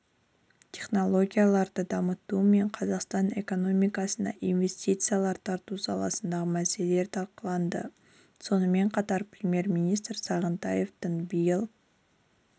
технологияларды дамыту мен қазақстан экономикасына инвестициялар тарту саласындағы мәселелер талқыланды сонымен қатар премьер-министрі сағынтаевтың биыл